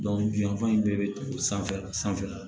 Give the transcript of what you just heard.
bi yanfan in bɛɛ be sanfɛla sanfɛ